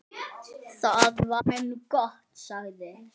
Það var nú gott, sagði